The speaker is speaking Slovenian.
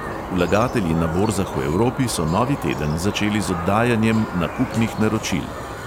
Vlagatelji na borzah v evropi so novi teden začeli z oddajanjem nakupnih naročil.